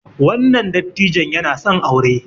wannan dattijon yana son aure